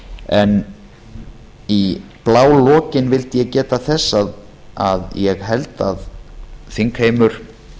en í blálokin vildi ég geta þess að ég held að þingheimur